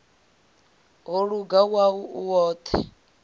ho luga wau u woṱhe